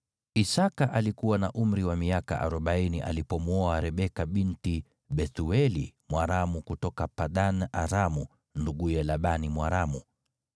Isaki alikuwa na umri wa miaka arobaini alipomwoa Rebeka binti Bethueli Mwaramu kutoka Padan-Aramu, nduguye Labani Mwaramu.